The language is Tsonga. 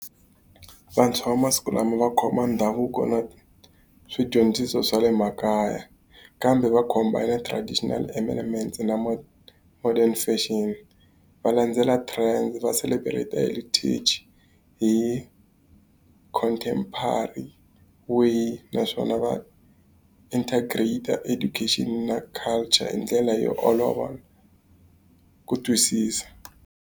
Vantshwa va masiku lama va khoma ndhavuko na swidyondziso swa le makaya, kambe combine-a traditional amendment na modern fashion. Va landzela trends va celebrate-a Heritage hi contempary way naswona va integrated education na culture hi ndlela yo olova ku twisisa.